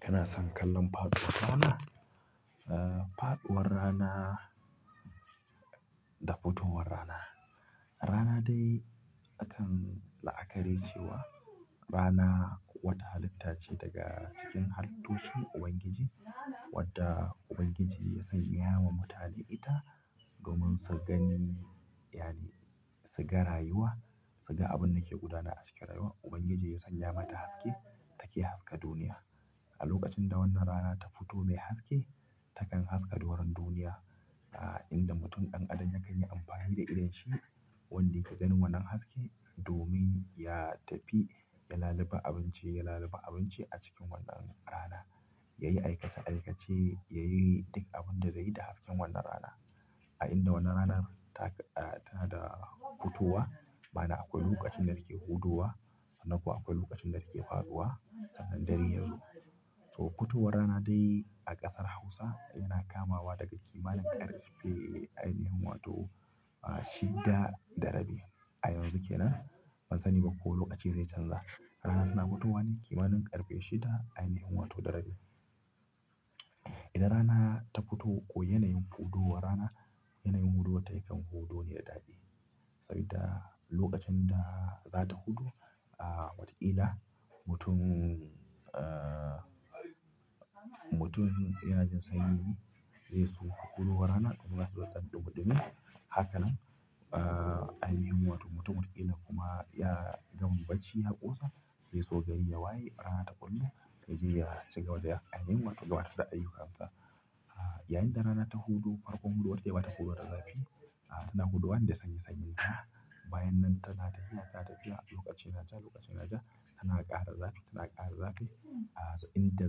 Kana son kallon faɗuwar rana? Ah, faɗuwar rana da futuwar rana. Rana dai akan la'akari cewa rana wata halitta ce daga cikin halittun Ubangiji wadda Ubangiji ya sanya wa mutane ita domin su gani. Yani su ga rayuwa, su ga abin da ke gudana a cikin rayuwa. Ubangiji ya sanya mata haske take haska duniya. A lokacin da wannan rana ta fito mai haske, takan haska doron duniya. Inda mutum ɗan adam yakan yi amfani da idon shi wanda ya gani wannan haske domin ya tafi ya lalube abinci, ya lalube abinci a cikin wannan rana. Ya yi aikace-aikace, ya yi duk abin da zai yi da hasken wannan rana. A inda wannan rana taka-- tana da futowa bana akwai lokacin da take hudowa. Sannan kuwa akwai lokacin da take faɗuwa. Sanan dare yanzu. So futuwar rana dai a ƙasar Hausa yana kamawa daga ƙimanin ƙarfe ainihin wato shidda da rabi. A yanzu kenan, bansani ba ko lokaci zai chanza rana tana fitowa ne kimanin ƙarfe shida ainahin wato da rabi, idan rana ta fito, yanayin hudowar rana yanayin hudo ta yakan hudo ne da daɗi. Saboda lokacin da za ta hudo. Ah, watakila mutum, ah, mutumin yanajin sanyi zai so ya hudo wa rana domin zai zo daɗe buɗe miya. Hakanan ainihin wato mutumin ƙila kuma ya gama bacci ya ƙosa. Ya so gari ya waye, rana ta ɓullo yaje ya cigaba da ainihin wato gudanar da ayyukansa. Ah, yayin da rana ta huɗu farkon huduwarta ba ta hudo da zafi. Tana haduwa ne da sanyi-sanyinta. Bayan nan tana ta yi haka ta fiya lokaci ya ja lokacin ya ja. Tana ƙara zafi tana ƙara zafi. Inda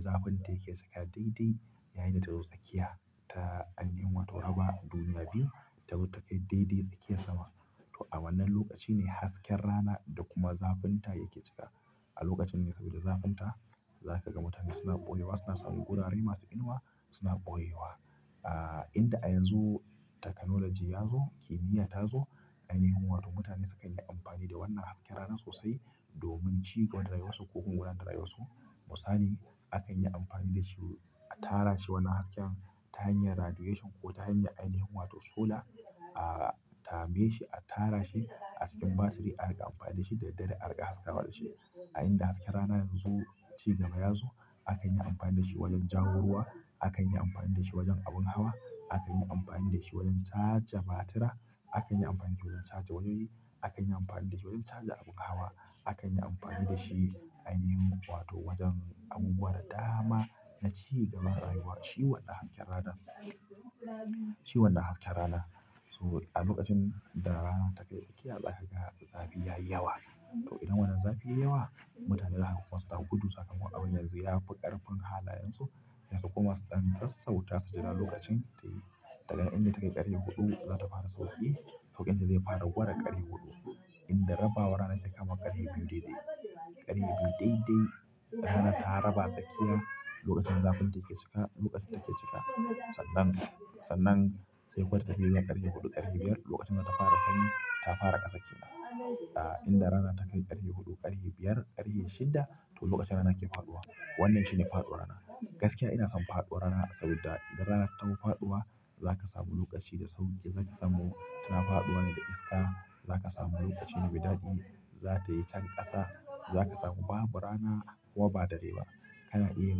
zafinta yake cika daidai. Yayinda ta zo tsakiya ta ainihin wato raba duniya biyu. Tazo ta kai daidai tsakiyar sama. To a wannan lokacine hasken rana da kuma zafinta yake cika. A lokacin ne sabida zafinta zakaga mutane suna ɓoyewa suna samin wurare masu inuwa suna ɓoyewa aaa inda a yanzu technology yazo ainihin wato mutane sukan yi amfani da wannan hasken rana sosai. Domin ci gaban rayuwarsu ko kuma wurin rayuwarsu. Misali akan yi amfani da shi a tara shi wannan hasken ta hanyar radiation ko ta hanyar ainihin wato sola. A tame shi, a tara shi a cikin batiri. A riƙa amfani da shi da dare. A riƙa haska wa dashi. A inda hasken rana yanzu ci gaba ya zo. Akan yi amfani da shi wajen jawo ruwa. Akan yi amfani da shi wajen abun hawa. Akan yi amfani da shi wajen caja batira. Akan yi amfani da shi wajen caja wuri. Akan yi amfani da shi wajen caja abun hawa. Akan yi amfani da shi ainihin wato wajen abubuwa da dama na ci gaban rayuwa. Shi wannan hasken rana. Shi wannan hasken rana. So a lokacin da rana take tsakiya za ka ga zafi ya yi yawa. To idan wannan zafi ya yi yawa. Mutane zaku kuma su dako gudu. Sakan kuwa abin yanzu ya fi ƙarfin halayensu. Su kuma su dan sassauta su jira lokacinta yayi daga inda take ƙarfe huɗu za ta fara sauƙi. Sauƙin da zai fara gurin ƙarfe huɗu. Inda raba war rana take kama ƙari biyu daidai. Ƙari biyu daidai. Rana ta raba tsakiya lokacin zafinta yake cika. Lokacin take cika. Sannan, sannan sai kawai ta biya ƙarfe huɗu ƙarfe biyar. Lokacin da ta fara sanyi ta fara ƙasa ƙila. Inda rana takai ƙarfe huɗu ƙarfe biyar ƙarfe shidda. To lokacin rana ke faɗuwa. Wannan shine faɗuwar rana. Gaskiya ina son faduwar rana, sabida idan rana ta taho faɗuwa zaka samu lokaci da sauri, zaka samu tana faɗuwa ne da iska. Za ka samu lokaci mai daɗi. Za ta yi can ƙasa. Za ka samu babu rana kuwa ba dare ba. Kana iya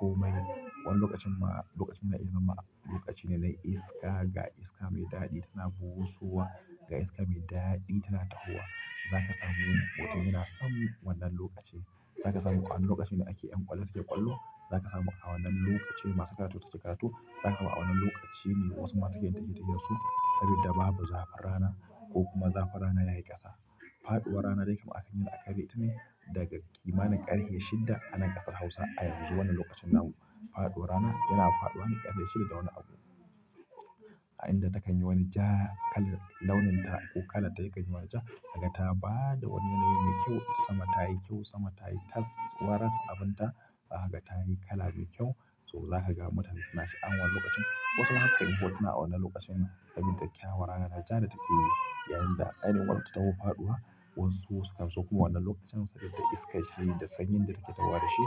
komai. Wannan lokacin ma lokacin da ya zama lokaci ne na iska ga iska mai daɗi. Tana busowa ga iska mai daɗi tana tahowa. Za ka samu lokuta. Ina son wannan lokaci. Za ka samu a wannan lokacin da ake yin ƙwallo suke ƙwallo. Za ka samu a wannan lokaci masu karatu suke karatu. Za ka ga a wannan lokaci ne wasu masu gidan take ta yanzu. Saboda babu zafin rana ko kuma zafin rana yayi ƙasa. Faɗuwar rana dai kam aka yi aƙari tamchi daga ƙimanin ƙari shidda a nan ƙasar Hausa. A yanzu wannan lokacin namu. Faɗuwar rana yana faɗuwa ne ƙarfe shidda da wani abu. A inda takan yi wani ja kala launin ta ko kala ta yake jima'i ja. Haka ta ba da wani nau'i mai kyau. Sama ta yi kyau sama ta yi tas. Waras abin ta. Haka ta yi kala mai kyau. So za ka ga mutane suna sha'awar lokacin. Wasu haka suke hotuna a wannan lokacin saboda kyawar rana ja da take yi. Yayinda ainihin wato ta hau faɗuwa. Wasu sukanso wannan lokaci, susamu iskanshi sosai.